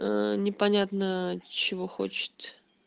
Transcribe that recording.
ээ непонятно чего хочет